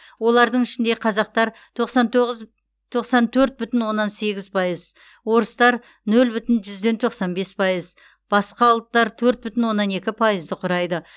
олардың ішінде қазақтар тоқсан тоғыз тоқсан төрт бүтін оннан сегіз пайыз орыстар нөл бүтін жүзден тоқсан бес пайыз басқа ұлттар төрт бүтін оннан екі пайызды құрайды